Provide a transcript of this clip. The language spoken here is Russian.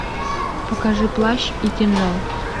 покажи плащ и кинжал